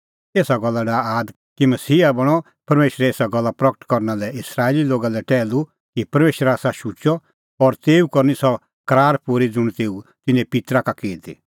एसा गल्ला डाहा आद कि मसीहा बणअ परमेशरे एसा गल्ला प्रगट करना लै इस्राएली लोगा लै टैहलू कि परमेशर आसा शुचअ और तेऊ करनी सह करार पूरी ज़ुंण तेऊ तिन्नें पित्तरा का की ती